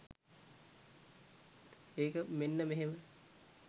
ඒක මෙන්න මෙහෙම.